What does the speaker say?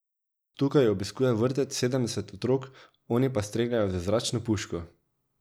Tukaj obiskuje vrtec sedemdeset otrok, oni pa streljajo z zračno puško.